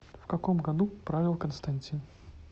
в каком году правил константин